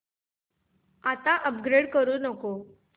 आता अपग्रेड करू नको